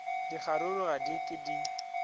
dikgaruru ga di ke di